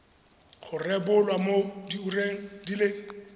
rebolwa mo diureng di le